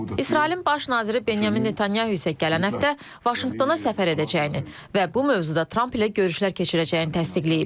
İsrailin baş naziri Benyamin Netanyahu isə gələn həftə Vaşinqtona səfər edəcəyini və bu mövzuda Tramp ilə görüşlər keçirəcəyini təsdiqləyib.